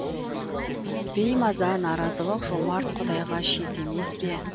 беймаза наразылық жомарт құдайға шет емес пе